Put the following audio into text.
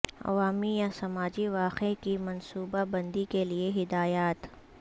عوامی یا سماجی واقعہ کی منصوبہ بندی کے لئے ہدایات